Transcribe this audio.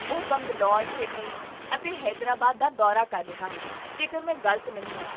ਉਹ ਬੰਗਲੌਰ, ਚੇਨਈ ਅਤੇ ਹੈਦਰਾਬਾਦ ਦਾ ਦੌਰਾ ਕਰ ਰਿਹਾ ਹੈ ਜੇਕਰ ਮੈਂ ਗਲਤ ਨਹੀਂ ਹਾਂ